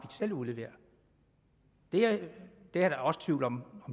selv udleverer der er også tvivl om